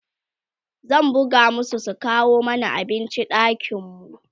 zan buga masu su kawo mana abinci ɗakin mu